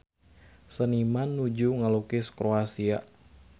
Seniman nuju ngalukis Kroasia